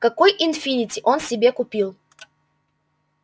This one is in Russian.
какой инфинити он себе купил